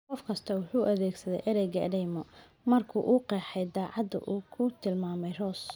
Qof kastaa wuxuu adeegsaday ereyga "eedeymo" markii uu qeexayay dhacdada uu ku tilmaamay Rose.